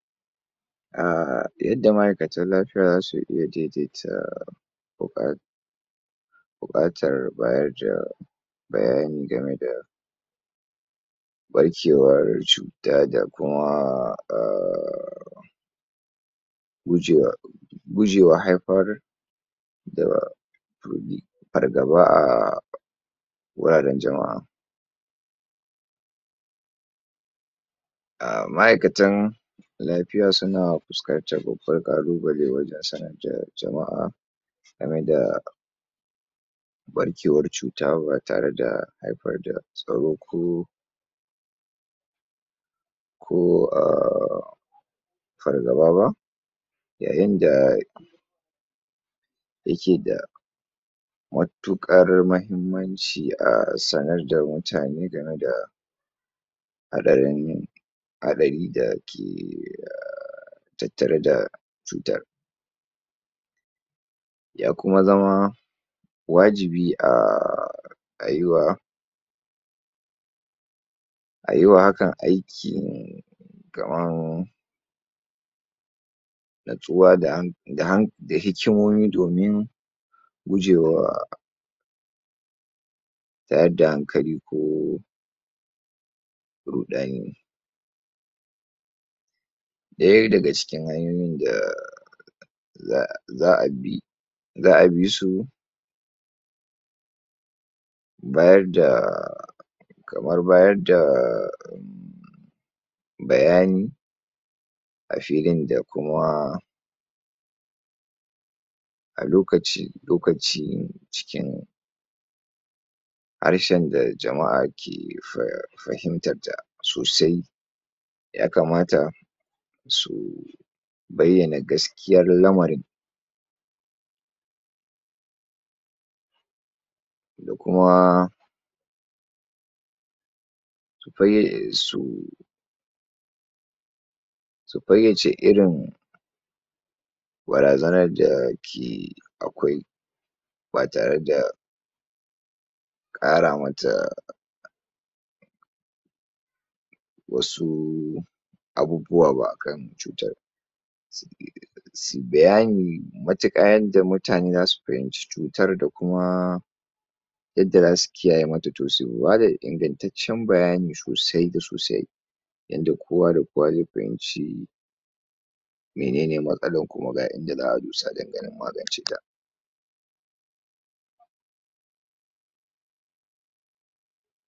A yadda ma'aikatan lafiya zasu iya daidaita buƙa buƙatar bayar da bayani game da ɓarkewar cuta da kuma ah gujewa gujewa haifar da har gaba a wuraren jama'a a ma'aikatan lafiya suna fuskantar babbar ƙalubale wajen sanar da jama'a game da ɓarkewar cuta ba tare da haifar da tsaro ko ko ah fargaba ba yayin da yake da matuƙar mahimmanci a sanar da mutane game da haɗarin yin haɗari da ke tattare da cutan ya kuma zama wajibi a a yi wa a yi wa hakan aiki kaman natsuwa da hikimomi domin gujewa tayar da hankali ko ruɗani ɗaya daga cikin hanyoyin da za'a bi za'a bi su bayar da kamar bayar da bayani a filin da kuma a lokaci lokaci cikin harshen da jama'a ke fahimtar ta sosai yakamata su bayyana gaskiyar lamarin da kuma su fayyace irin barazanar da ke akwai ba tare da ƙara mata wasu abubuwa ba akan cutan su yi bayani matuƙa yadda mutane zasu fahimci cutar da kuma yadda zasu kiyaye mata, to su bada ingantacen bayani sosai da sosai yanda kowa da kowa zai fahimci menene matsalar kuma ga inda za'a dosa dan ganin magnace ta.